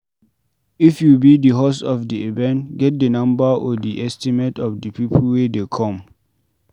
if you be di host of the event get the number or the estimate of di people wey dey come